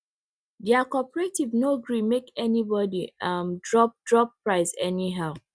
their cooperative no gree make anybody um drop drop price anyhow